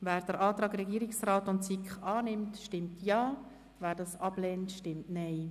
Wer den Antrag Regierungsrat/SiK annimmt, stimmt Ja, wer diesen ablehnt, stimmt Nein.